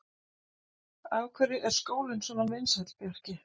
Af hverju er skólinn svona vinsæll, Bjarki?